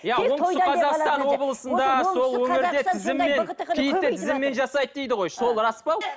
иә оңтүстік қазақстан облысында сол өңірде тізіммен киітті тізіммен жасайды дейді ғой сол рас па